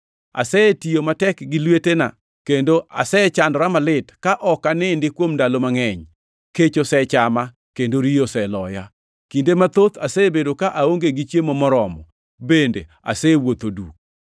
Asetiyo matek gi lwetena, kendo asechandora malit, ka ok anindi kuom ndalo mangʼeny. Kech osechama, kendo riyo oseloya; kinde mathoth asebedo ka aonge gi chiemo moromo, bende asewuotho duk.